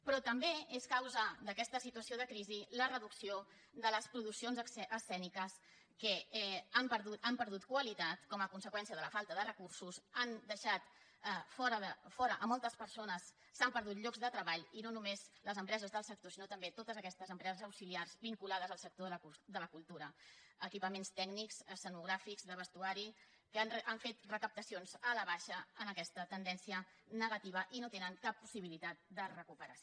però també és causa d’aquesta situació de crisi la reducció de les produccions escèniques que han perdut qualitat com a conseqüència de la falta de recursos han deixat fora moltes persones s’han perdut llocs de treball i no només les empreses del sector sinó també totes aquestes empreses auxiliars vinculades al sector de la cultura equipaments tècnics escenogràfics de vestuari que han fet recaptacions a la baixa en aquesta tendència negativa i no tenen cap possibilitat de recuperació